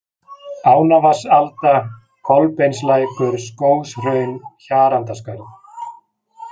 Ánavatnsalda, Kolbeinslækur, Skógshraun, Hjarandaskarð